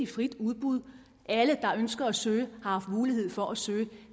frit udbud alle der ønsker at søge har haft mulighed for at søge